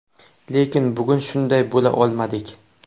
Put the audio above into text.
Lekin bugun shunday bo‘la olmadik.